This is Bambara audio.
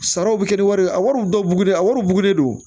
Saraw bi kɛ ni wari ye a wariw dɔw bugulen a wari bugulen don